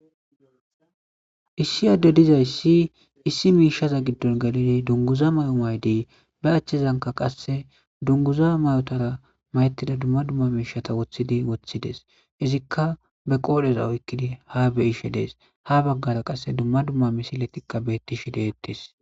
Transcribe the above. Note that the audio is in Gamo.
issi adde dizay si issi miishaza giddon galini dunguza may7o maydi ba achchezanka qasse dunguza may7otara mayettida dumma dumma miishata woththidi woththides izikka be qoodheza oykkidi ha be ishe dees ha baggara qasse dumma dumma misiletikka bettishi deettes